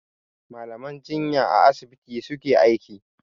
Mallaman jinya a asibiti su ke aiki.